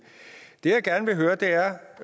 jeg gerne vil høre er